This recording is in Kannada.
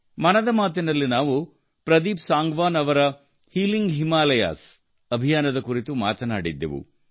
ಮನದ ಮಾತಿನಲ್ಲಿ ನಾವು ಪ್ರದೀಪ್ ಸಾಂಗವಾನ್ ಅವರ ಹೀಲಿಂಗ್ ಹಿಮಾಲಯಾಜ್ ಅಭಿಯಾನ ಕುರಿತು ಮಾತನಾಡಿದ್ದೆವವು